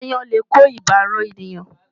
Aáyán lè kó ibà ran ènìyàn.